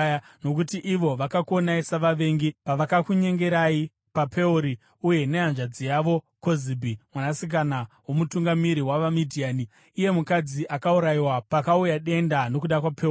nokuti ivo vakakuonai savavengi pavakakunyengerai paPeori uye nehanzvadzi yavo Kozibhi, mwanasikana womutungamiri wavaMidhiani, iye mukadzi akaurayiwa pakauya denda nokuda kwePeori.”